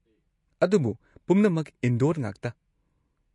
ꯑꯗꯨꯕꯨ ꯄꯨꯝꯅꯃꯛ ꯏꯟꯗꯣꯔ ꯉꯥꯛꯇ꯫